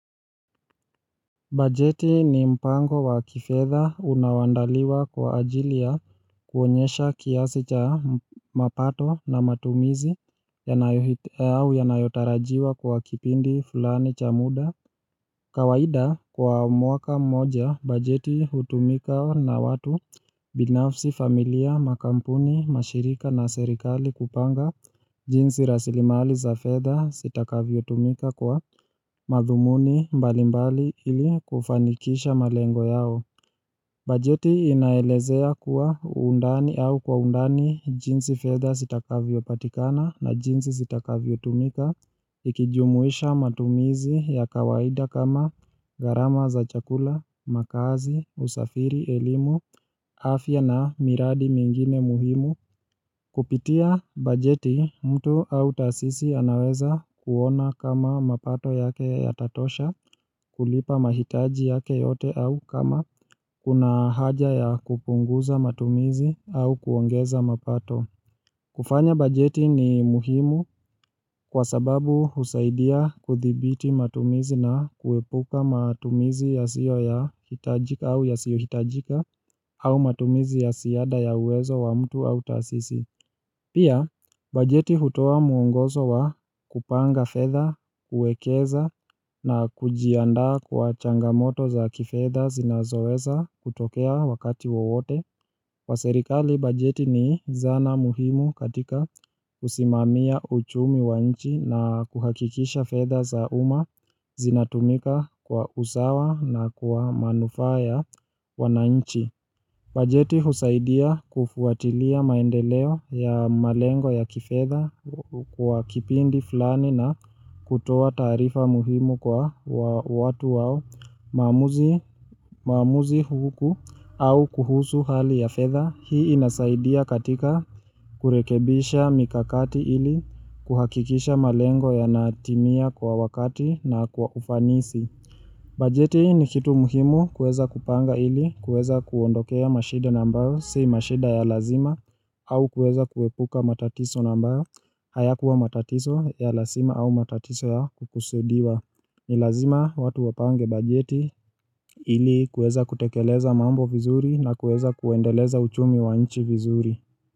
Bajeti ni mpango wa kifetha unaoandaliwa kwa ajilia ya kuonyesha kiasi cha mapato na matumizi yanayotarajiwa kwa kipindi fulani cha muda kawaida kwa mwaka moja bajeti hutumika na watu binafsi familia makampuni mashirika na serikali kupanga jinsi rasilimali za fedha sitakavyo tumika kwa madhumuni mbalimbali ili kufanikisha malengo yao. Bajeti inaelezea kuwa undani au kwa undani jinsi fedha sitakavyo patikana na jinsi sitakavyo tumika, ikijumuisha matumizi ya kawaida kama garama za chakula, makazi, usafiri, elimu, afya na miradi mingine muhimu. Kupitia bajeti mtu au tasisi anaweza kuona kama mapato yake yatatosha kulipa mahitaji yake yote au kama kuna haja ya kupunguza matumizi au kuongeza mapato kufanya bajeti ni muhimu kwa sababu husaidia kuthibiti matumizi na kuepuka matumizi yasiyo ya hitajika au yasiyo hitajika au matumizi ya siada ya uwezo wa mtu au tasisi Pia, bajeti hutoa muongozo wa kupanga fedha, kuekeza na kujianda kwa changamoto za kifedha zinazoweza kutokea wakati wowote. Kwa serikali, bajeti ni zana muhimu katika kusimamia uchumi wa nchi na kuhakikisha fedha za uma zinatumika kwa usawa na kwa manufa ya wananchi. Bajeti husaidia kufuatilia maendeleo ya malengo ya kifedha kwa kipindi fulani na kutoa tarifa muhimu kwa watu wao maamuzi huku au kuhusu hali ya fedha. Hii inasaidia katika kurekebisha mikakati ili kuhakikisha malengo yanatimia kwa wakati na kwa ufanisi. Bajeti ni kitu muhimu kuweza kupanga ili kuweza kuondokea mashida nambayo si mashida ya lazima au kuweza kuwepuka matatiso nambayo hayakuwa matatiso ya lazima au matatiso ya kukusudiwa Nilazima watu wapange bajeti ili kuweza kutekeleza mambo vizuri na kuweza kuwendeleza uchumi wanichi vizuri.